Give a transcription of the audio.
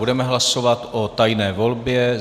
Budeme hlasovat o tajné volbě.